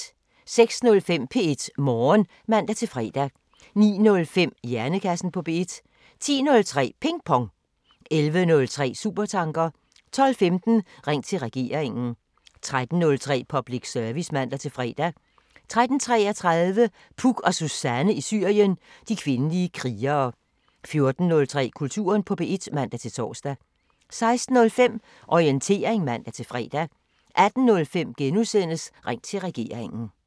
06:05: P1 Morgen (man-fre) 09:05: Hjernekassen på P1 10:03: Ping Pong 11:03: Supertanker 12:15: Ring til Regeringen 13:03: Public Service (man-fre) 13:33: Puk og Suzanne i Syrien: De kvindelige krigere 14:03: Kulturen på P1 (man-tor) 16:05: Orientering (man-fre) 18:05: Ring til Regeringen *